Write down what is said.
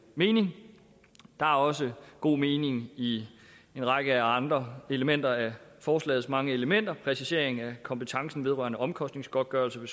mening der er også god mening i en række andre elementer af forslagets mange elementer præcisering af kompetencen vedrørende omkostningsgodtgørelse ved